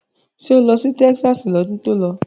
Ṣé o lọ sí Texas lọ́dún tó lọ?